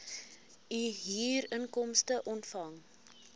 u huurinkomste ontvang